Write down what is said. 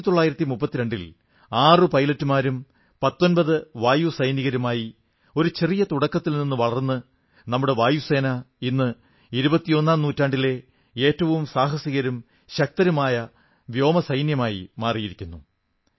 1932 ൽ ആറു പൈലറ്റുമാരും 19 വായുസൈനികരുമായി ഒരു ചെറിയ തുടക്കത്തിൽ നിന്നു വളർന്ന് നമ്മുടെ വായുസേന ഇന്ന് ഇരുപത്തിയൊന്നാം നൂറ്റാണ്ടിലെ ഏറ്റവും സാഹസികരും ശക്തരുമായ വായുസേനയായി മാറിയിരിക്കുന്നു